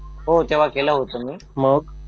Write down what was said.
हो तेव्हा केलं होतं मी